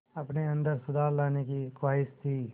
अपने अंदर सुधार लाने की ख़्वाहिश थी